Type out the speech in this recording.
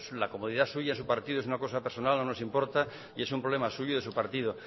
la comodidad suya de su partido es una cosa personal no nos importa y es un problema suyo y de su partido